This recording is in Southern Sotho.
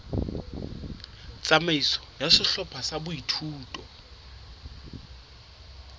tsamaiso ya sehlopha sa boithuto